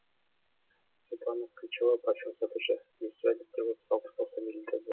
светлана кычева парфюм сатушы иіссу әдетте отыз алпыс тоқсан миллилитр